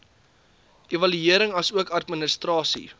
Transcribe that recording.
evaluering asook administrasie